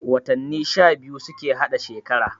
Watanni sha biyu suke hada shekara